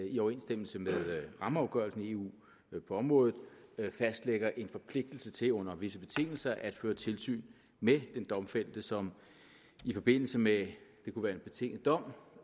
i overensstemmelse med rammeafgørelsen i eu på området fastlægger en forpligtelse til under visse betingelser at føre tilsyn med den domfældte som i forbindelse med det kunne være en betinget dom